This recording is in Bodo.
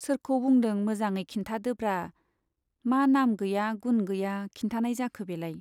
सोरखौ बुंदों मोजाङै खिन्थादोब्रा , मा नाम गैया गुन गैया खिन्थानाय जाखो बेलाय।